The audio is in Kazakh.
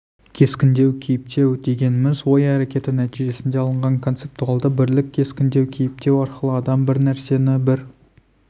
кескіндеу кейіптеу дегеніміз ой әрекеті нәтижесінде алынған концептуалды бірлік кескіндеу кейіптеу арқылы адам бір нәрсені бір